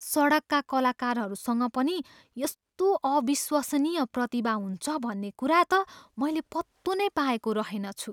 सडकका कलाकारहरूसँग पनि यस्तो अविश्वसनीय प्रतिभा हुन्छ भन्ने कुरा त मैले पत्तो नै पाएको रहेनछु।